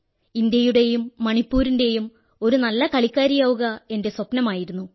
ഇന്ത്യയുടെയും മണിപ്പൂരിന്റെയും ഒരുനല്ല കളിക്കാരിയാവുക എന്റെ സ്വപ്നമായിരുന്നു